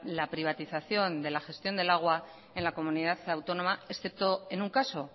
la privatización de la gestión del agua en la comunidad autónoma excepto en un caso